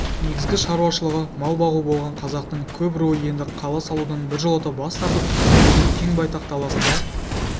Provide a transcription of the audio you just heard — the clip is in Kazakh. негізгі шаруашылығы мал бағу болған қазақтың көп руы енді қала салудан біржолата бас тартып өзінің кең байтақ даласында